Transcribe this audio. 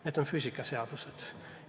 Need on füüsikaseadused.